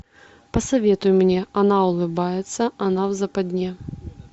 посоветуй мне она улыбается она в западне